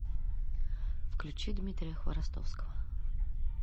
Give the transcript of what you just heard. включи дмитрия хворостовского